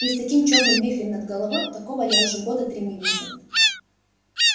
и с таким чёрным вихрем над головой такого я уже года три не видел